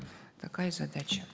такая задача